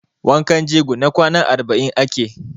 Wankan jego na kwana arba'in ake.